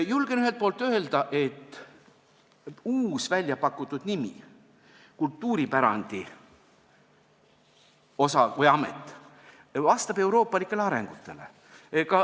Julgen öelda, et uus väljapakutud nimi Kultuuripärandiamet vastab euroopalikele arengutele.